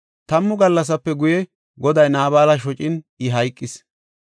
Tammu gallasape guye Goday Naabala shocin, I hayqis.